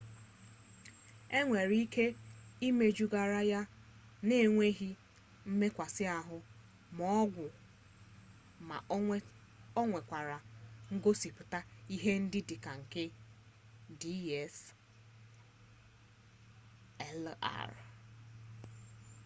enwere ike imejugharị ya na-enweghi mmekasị ahụ ma ọgwụ ma o nwekwara ngosipụta ihe dị ka nke dslr